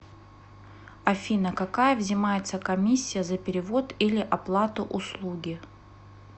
афина какая взимается комиссия за перевод или оплату услуги